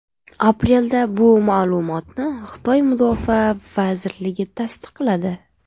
Aprelda bu ma’lumotni Xitoy mudofaa vazirligi tasdiqladi.